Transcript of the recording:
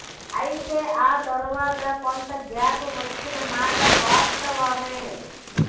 అయితే ఆ తరువాత కొంత గ్యాప్ వచ్చిన మాట వాస్తవమే